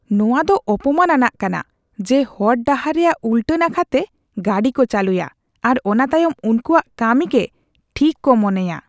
ᱱᱚᱶᱟ ᱫᱚ ᱚᱯᱚᱢᱟᱱ ᱟᱱᱟᱜ ᱠᱟᱱᱟ ᱡᱮ ᱦᱚᱲ ᱰᱟᱦᱟᱨ ᱨᱮᱭᱟᱜ ᱩᱞᱴᱟ ᱱᱟᱠᱷᱟᱛᱮ ᱜᱟᱹᱰᱤ ᱠᱚ ᱪᱟᱹᱞᱩᱭᱟ ᱟᱨ ᱚᱱᱟ ᱛᱟᱭᱚᱢ ᱩᱱᱠᱩᱣᱟᱜ ᱠᱟᱹᱢᱤ ᱜᱮ ᱴᱷᱤᱠ ᱠᱚ ᱢᱚᱱᱮᱭᱟ ᱾